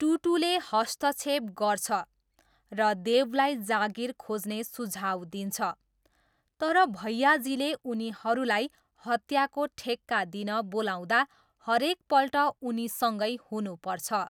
टुटूले हस्तक्षेप गर्छ र देवलाई जागिर खोज्ने सुझाउ दिन्छ तर भैयाजीले उनीहरूलाई हत्याको ठेक्का दिन बोलाउँदा हरेकपल्ट उनीसँगै हुनुपर्छ।